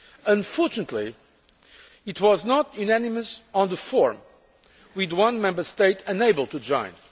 Unfortunately it was not unanimous on the form, with one Member State unable to join.